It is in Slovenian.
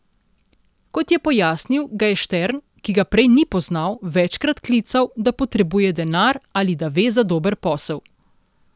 Kot je pojasnil, ga je Štern, ki ga prej ni poznal, večkrat klical, da potrebuje denar ali da ve za dober posel.